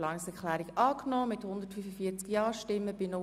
Abstimmung (Planungserklärung 2